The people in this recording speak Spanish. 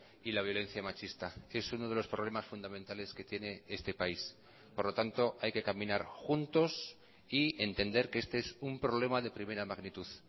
y la violencia machista es uno de los problemas fundamentales que tiene este país por lo tanto hay que caminar juntos y entender que este es un problema de primera magnitud